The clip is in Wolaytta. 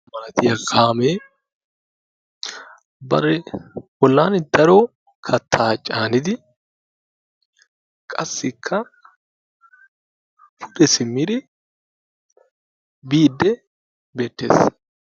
Maadiya kaamee bari bollaani daro kattaa caanidi qassikka pude simmide biidde beettees.